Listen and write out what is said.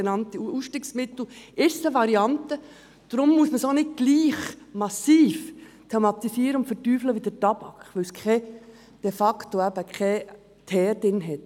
Deshalb muss diese auch nicht gleich massiv thematisiert werden wie der Tabak, da sie de facto keinen Teer enthält.